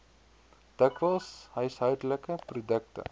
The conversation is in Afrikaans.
dikwels huishoudelike produkte